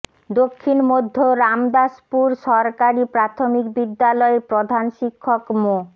দক্ষিণ মধ্য রামদাসপুর সরকারি প্রাথমিক বিদ্যালয়ের প্রধান শিক্ষক মো